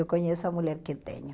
Eu conheço a mulher que tenho.